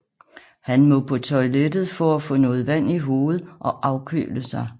Han må på toilettet for at få noget vand i hovedet og afkøle sig